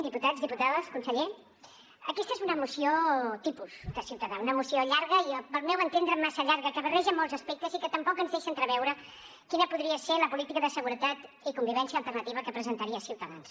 diputats diputades conseller aquesta és una moció tipus de ciutadans una moció llarga al meu entendre massa llarga que barreja molts aspectes i que tampoc ens deixa entreveure quina podria ser la política de seguretat i convivència alternativa que presentaria ciutadans